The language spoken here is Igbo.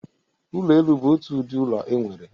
Ụlọ elu bụ otu ụdị ụlọ enwere.